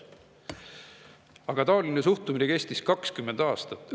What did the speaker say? Taoline suhtumine kestis 20 aastat.